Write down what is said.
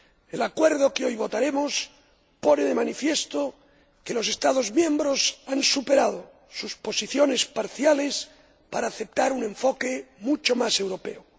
El acuerdo que hoy votaremos pone de manifiesto que los Estados miembros han superado sus posiciones parciales para aceptar un enfoque mucho más europeo.